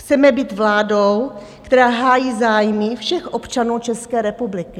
Chceme být vládou, která hájí zájmy všech občanů České republiky.